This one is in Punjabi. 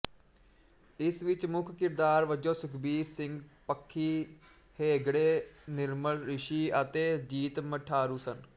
ਇਸ ਵਿੱਚ ਮੁੱਖ ਕਿਰਦਾਰ ਵਜੋਂ ਸੁਖਬੀਰ ਸਿੰਘ ਪਖੀ ਹੇਗੜੇ ਨਿਰਮਲ ਰਿਸ਼ੀ ਅਤੇ ਜੀਤ ਮਠਾਰੂ ਸਨ